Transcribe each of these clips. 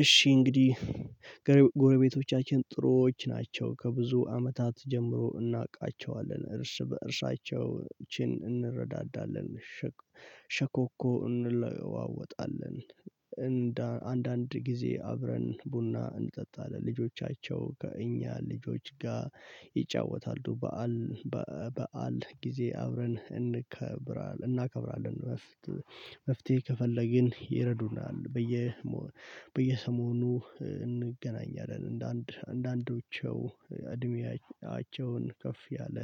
እሺ እንግዲህ ጎረቤቶቻችን ጥሩዎች ናቸው ከብዙ አመታት ጀምሮ እናውቃቸዋለን እርስ በእርሳቸው እቺን እንረዳዳለን። ሸኮኮ እንለዋወጣለን። አንዳንድ ጊዜ አብረን ቡና እንጠጣለን። ልጆቻቸው ከእኛ ልጆች ጋር ይጫወታሉ። በዓል በዓል ጊዜ አብረን እንከብራለን እናከብራለን። መፍትሄ ከፈለግን ይረዱናል። በየ በየሰሞኑ እንገናኛለን። እንደ አንዳንዶቸው እድሜያቸውን ከፍ ያለ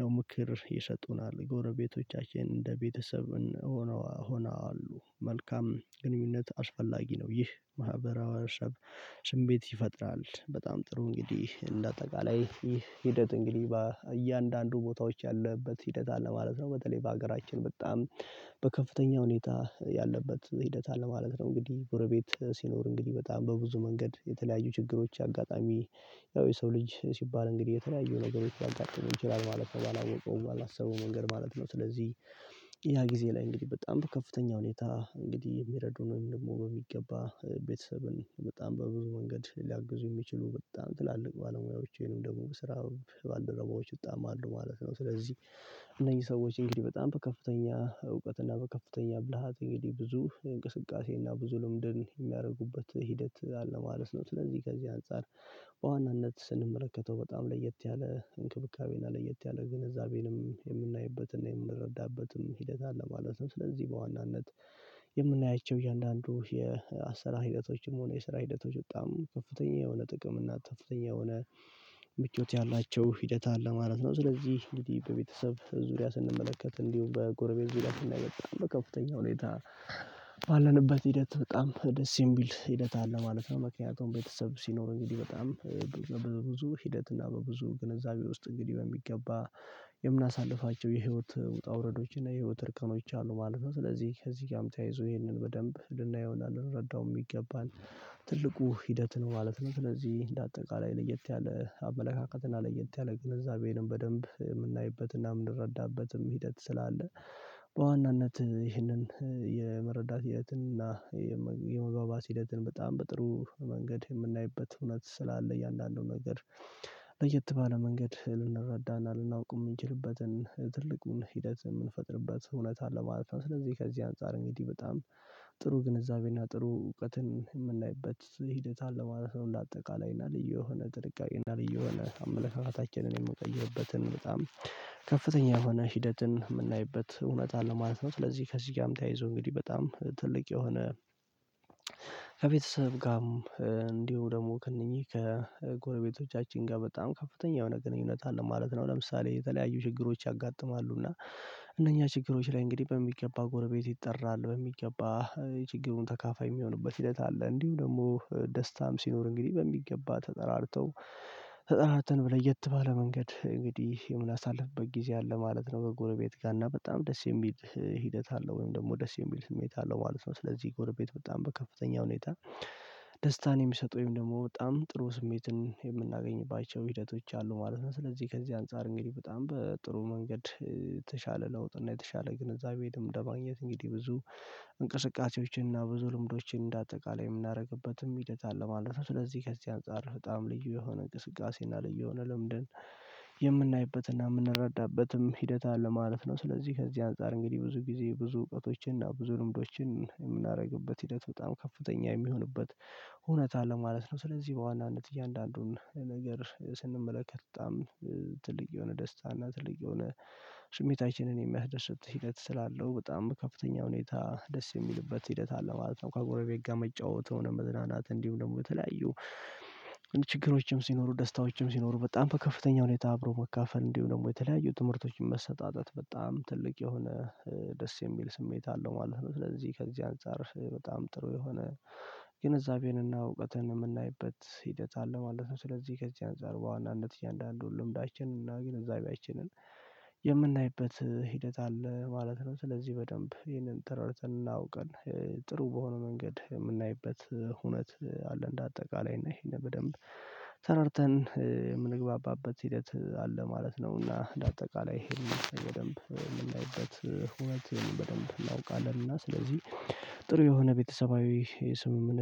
ያው ምክር ይሰጡናል። ጎረቤቶቻችን እንደ ቤተሰብ ሆኖ ሆና አሉ መልካም ግንኙነት አስፈላጊ ነው። ይህ ማህበረ ሰብ ስሜት ይፈጥራል። በጣም ጥሩ እንግዲህ እንደ አጠቃላይ ይህ ሂደት እንግዲህ እያንዳንዱ ቦታዎች ያለበት ሂደት አለ ማለት ነው። በተለይ በሀገራችን በጣም በከፍተኛ ሁኔታ ያለበት ሂደት አለ ማለት ነው። እንግዲህ ጎረቤት ሲኖር እንግዲህ በጣም በብዙ መንገድ የተለያዩ ችግሮች አጋጣሚ ያው የሰው ልጅ ሲባል እንግዲህ የተለያዩ ነገሮች ሊያጋጥም ይችላል ማለት ነው። ባላወቀው ባላሰበውም መንገድ ማለት ነው። ስለዚህ ያ ጊዜ ላይ እንግዲህ በጣም በከፍተኛ ሁኔታ እንግዲህ የሚረዱን ደግሞ በሚገባ ቤተሰብን በጣም በብዙ መንገድ ሊያግዙ የሚችሉ በጣም ትላልቅ ባለሙያዎች ወይንም ደግሞ በስራ ባልደረቦች በጣም አሉ ማለት ነው። ስለዚህ እነኚህ ሰዎች እንግዲህ በጣም በከፍተኛ እውቀት እና በከፍተኛ ብልሃት እንግዲህ ብዙ እንቅስቃሴ እና ብዙ ልምድን የሚያደርጉበት ሂደት አለ ማለት ነው። ስለዚህ ከዚህ አንፃር በዋናነት ስንመለከተው በጣም ለየት ያለ እንክብካቤና ለየት ያለ ግንዛቤንም የምናይበትና የምንረዳበትም ሂደት አለ ማለትም ስለዚህ በዋናነት የምናያቸው እያንዳንዱ የአሰራር ሂደቶችም ሆነ የሰራ ሂደቶች በጣም ከፍተኛ የሆነ ጥቅም እና ከፍተኛ የሆነ ምቾት ያላቸው ሂደት አለ ማለት ነው። ስለዚህ እንግዲህ በቤተሰብ ዙሪያ ስንመለከት እንዲሁም በጎረቤት ዊላሽ እና በጣም በከፍተኛ ሁኔታ ባለንበት ሂደት በጣም ደስ የሚል ሂደት አለ ማለት ነው። ምክንያቱም ቤተሰብ ሲኖር እንግዲህ በጣም በብዙ ሂደት እና በብዙ ግንዛቤ ውስጥ እንግዲህ በሚገባ የምናሳልፋቸው የህይወት ውጣ ውረዶችና የህይወት እርከኖች አሉ ማለት ነው። ስለዚህ ከዚህ ጋርም ተያይዞ ይሄንን በደንብ ልናየውና ልንረዳው የሚገባን ትልቁ ሂደት ነው ማለት ነው። ስለዚህ እንደ አጠቃላይ ለየት ያለ አመለካከትና ለየት ያለ ግንዛቤንም በደንብ የምናይበትና የምንረዳበትም ሂደት ስላለ። በዋናነት ይህንን የመረዳት ሂደትን እና የመገባባት ህይወትን በጣም በጥሩ መንገድ የምናይበት እውነት ስላለ የእያንዳንዱ ነገር ለየት ባለ መንገድ ልንረዳና ልናውቅ የምንችልበትን ትልቁን ሂደት የምንፈጥርበት እውነት አለ ማለት ነው። ስለዚህ ከዚህ አንፃር እንግዲህ በጣም ጥሩ ግንዛቤና ጥሩ እውቀትን የምናይበት ሂደት አለማለት ነው። እንደ አጠቃላይ እና ልዩ የሆነ ጥንቃቄ ልዩ የሆነ አመለካከታችንን የምንቀይርበትን በጣም ከፍተኛ የሆነ ሂደትን የምናይበት እውነት አለ ማለት ነው። ስለዚህ ከዚህ ጋም ተያይዞ እንግዲህ በጣም ትልቅ የሆነ ከቤተሰብ ጋም እንዲሁ ደግሞ ከእነኚህ ከጎረቤቶቻችን ጋ በጣም ከፍተኛ የሆነ ግንኙነት አለ ማለት ነው። ለምሳሌ የተለያዩ ችግሮች ያጋጥማሉ እና እነኛ ችግሮች ላይ እንግዲህ በሚገባ ጎረቤት ይጠራል በሚገባ የችግሩን ተካፋይ የሚሆንበት ሂደት አለ። እንዲሁ ደግሞ ደስታም ሲኖር እንግዲህ በሚገባ ተጠራርተው ተጠራርተን ለየት ባለ መንገድ እንግዲህ የምናሳልፍበት ጊዜ አለ ማለት ነው። በጎረቤት ጋ እና በጣም ደስ የሚል ሂደት አለው ወይም ደግሞ ደስ የሚል ስሜት አለው ማለት ነው። ስለዚህ ጎረቤት በጣም በከፍተኛ ሁኔታ ደስታን የሚሰጡ ወይም ደግሞ በጣም ጥሩ ስሜትን የምናገኝባቸው ሂደቶች አሉ ማለት ነው። ስለዚህ ከዚህ አንፃር እንግዲህ በጣም በጥሩ መንገድ የተሻለ ለውጥ እና የተሻለ ግንዛቤም ለማግኘት እንግዲህ ብዙ እንቅስቃሴዎችን እና ብዙ ልምዶችን እንደ አጠቃላይ የምናደርግበትም ሂደት አለ ማለት ነው። ስለዚህ ከዚህ አንፃር በጣም ልዩ የሆነ እንቅስቃሴና ልዩ የሆነ ልምድን የምናይበትና የምንረዳበትም ሂደት አለ ማለት ነው። ስለዚህ ከዚህ አንፃር እንግዲህ ብዙ ጊዜ ብዙ እውቀቶችን እና ብዙ ልምዶችን የምናደርግበት ሂደት በጣም ከፍተኛ የሚሆንበት እውነት አለ ማለት ነው። ስለዚህ በዋናነት እያንዳንዱን ነገር ስንመለከት በጣም ትልቅ የሆነ ደስታ እና ትልቅ የሆነ ስሜታችንን የሚያስደስት ሂደት ስላለው በጣም በከፍተኛ ሁኔታ ደስ የሚልበት ሂደት አለ ማለት ነው። ከጎረቤት ጋ መጫወት የሆነ መዝናናት እንዲሁ ደግሞ የተለያዩ ችግሮችም ሲኖሩ ደስታዎችም ሲኖሩ በጣም በከፍተኛ ሁኔታ አብሮ መካፈል እንዲሁ ደግሞ የተለያዩ ትምህርቶችን መሰጣጠት በጣም ትልቅ የሆነ ደስ የሚል ስሜት አለው ማለት ነው። ስለዚህ ከዚህ አንፃር በጣም ጥሩ የሆነ ግንዛቤንና እውቀትን የምናይበት ሂደት አለ ማለት ነው። ስለዚህ ከዚህ አንፃር በዋናነት እያንዳንዱ ልምዳችን እና ግንዛቢያችንን የምናይበት ሂደት አለ ማለት ነው። ስለዚህ በደንብ ይሄንን ተረድተን እና አውቀን ጥሩ በሆነ መንገድ የምናይበት ሁነት አለ። እንደ አጠቃላይ እና ይሄንን በደንብ ተረድተን የምንግባባበት ሂደት አለ ማለት ነውና። እንዳጠቃላይ ይሄንን በደንብ የምናይበት ሁነት በደንብ እናውቃለን። እና ስለዚህ ጥሩ የሆነ ቤተሰባዊ የስምምነት